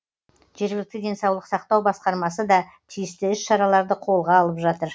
жергілікті денсаулық сақтау басқармасы да тиісті іс шараларды қолға алып жатыр